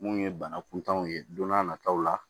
Mun ye bana kuntanw ye don n'a nataw la